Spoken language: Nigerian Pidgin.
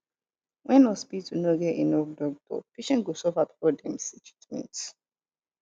when hospital no get enough doctor patient go suffer before dem treatment